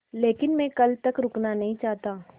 लेकिन मैं कल तक रुकना नहीं चाहता